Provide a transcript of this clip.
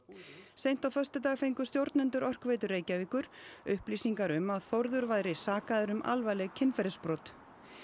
seint á föstudag fengu stjórnendur Orkuveitu Reykjavíkur upplýsingar um að Þórður væri sakaður um alvarleg kynferðisbrot